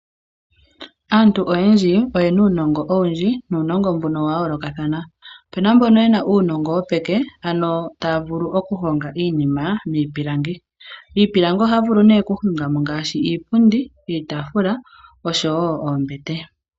Aantu oyendji oye na uunongo owundji nuunongo mboka owa yoolokathana. Opu na mboka ye na uunongo moonyala, taya vulu okuhonga iipilangi. Miipilangi ohaya vulu okuhonga mo ngaashi iipundi, iitaafula noshowo oombete.